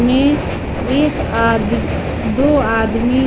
में एक आद दो आदमी--